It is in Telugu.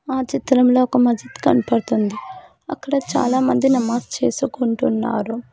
ఆ చిత్రంలో ఒక మసీద్ కనపడ్తుంది అక్కడ చాలా మంది నమాజ్ చేసుకుంటున్నారు.